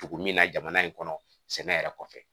Togo min na jamana in kɔnɔ sɛnɛ yɛrɛ kɔfɛ